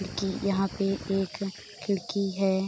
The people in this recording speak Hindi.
खिड़की यहाँ पे एक खिड़की है |